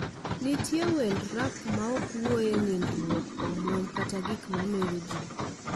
Nitie wend rap maok owuoye nindruok omwom kata gik mamero ji